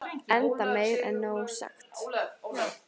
enda meir en nóg sagt